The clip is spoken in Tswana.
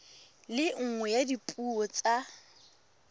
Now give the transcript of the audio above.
le nngwe ya dipuo tsa